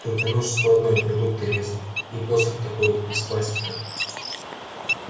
только нож складной продукты резать и посох такой из пластика